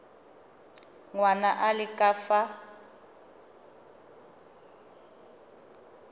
ngwana a le ka fa